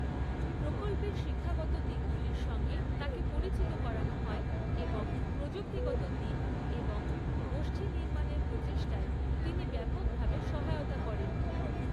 প্রকল্পের শিক্ষাগত দিকগুলির সঙ্গে তাঁকে পরিচিত করানো হয় এবং প্রযুক্তিগত দিক এবং গোষ্ঠীনির্মাণের প্রচেষ্টায় তিনি ব্যাপকভাবে সহায়তা করেন।